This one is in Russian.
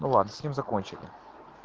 ну ладно с ним закончил